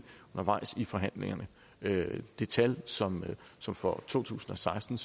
undervejs i forhandlingerne det tal som som for to tusind og seksten